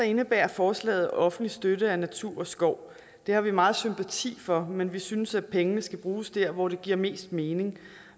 indebærer forslaget offentlig støtte af natur og skov det har vi meget sympati for men vi synes at pengene skal bruges dér hvor det giver mest mening